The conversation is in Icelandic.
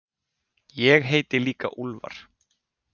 Ég heiti líka Úlfar.